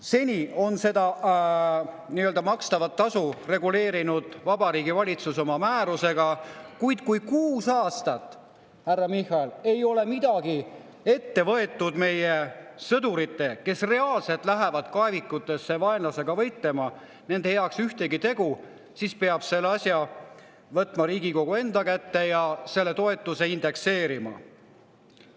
Seni on seda makstavat tasu reguleerinud Vabariigi Valitsus oma määrusega, kuid kui kuus aastat, härra Michal, ei ole midagi ette võetud, ei ole tehtud ühtegi tegu meie sõdurite heaks, kes reaalselt lähevad kaevikutesse vaenlasega võitlema, siis peab selle asja võtma Riigikogu enda kätte ja selle toetuse indekseerima.